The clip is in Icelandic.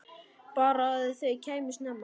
Bara að þau kæmu snemma.